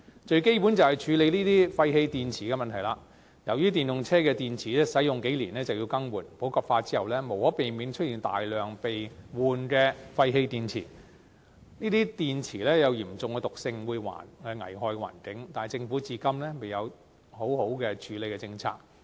最基本的是處理廢棄電池的問題，由於電動車的電池使用數年便要更換，普及化之後無可避免會出現大量被更換的廢棄電池，這些電池有嚴重的毒性，會危害環境，但政府至今仍未有完善的處理政策。